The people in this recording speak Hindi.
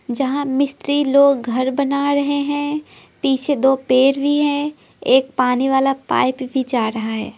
जहां मिस्त्री लोग घर बना रहे हैं पीछे दो पैर भी हैं एक पानी वाला पाइप भी जा रहा है।